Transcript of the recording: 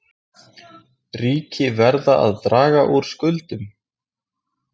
Ríki verða að draga úr skuldum